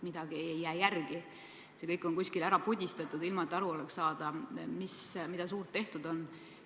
Midagi ei jää järele, kõik on kuskile ära pudistatud, ilma et aru oleks saada, mida suurt tehtud on.